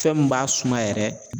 Fɛn min b'a suma yɛrɛ